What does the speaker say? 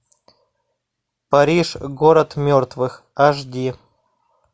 париж город мертвых аш ди